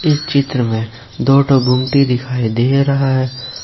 इस चित्र में दो ठो गुमती दिखाई दे रहा है।